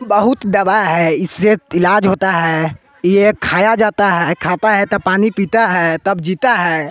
बहुत दवा है इससे इलाज होता है ये खाया जाता है खाता है तब पानी पीता है तब जीता है।